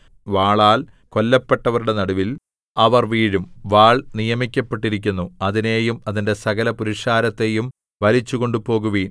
വാളാൽ കൊല്ലപ്പെട്ടവരുടെ നടുവിൽ അവർ വീഴും വാൾ നിയമിക്കപ്പെട്ടിരിക്കുന്നു അതിനെയും അതിന്റെ സകലപുരുഷാരത്തെയും വലിച്ചുകൊണ്ടുപോകുവിൻ